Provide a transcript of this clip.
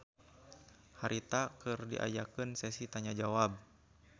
Harita keur diayakeun sesi tanya jawab.